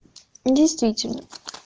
действительно